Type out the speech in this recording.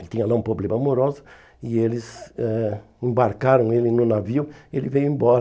Ele tinha lá um problema amoroso e eles eh embarcaram ele no navio, ele veio embora.